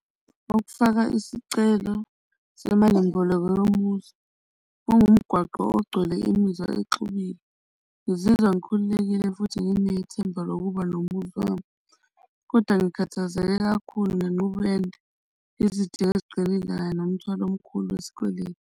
Ukufaka isicelo semalimboleko yomuzi kungumgwaqo ogcwele imizwa exubile ngizizwa ngikhululekile futhi nginethemba lokuba nomuzi wami. Kodwa ngikhathazeke kakhulu ngenqubo ende, izidingo eziqile kanye nomthwalo omkhulu wesikweletu.